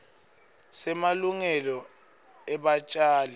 semalungelo ebatjali betihlahla